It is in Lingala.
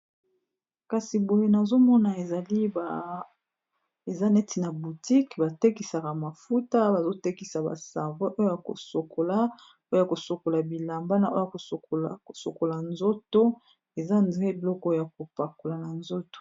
kasi boye nazomona ezali eza neti na botique batekisaka mafuta bazotekisa basevex oy ya kosokola oya kosokola bilamba na oya kosokola nzoto eza dre biloko ya kopakola na nzoto